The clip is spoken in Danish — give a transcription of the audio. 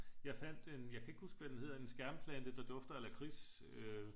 Jeg fandt en jeg kan ikke huske hvad den hedder en skærmplante der dufter af lakrids